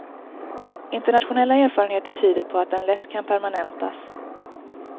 Internationella erfarenheter tyder på att den lätt kan permanentas.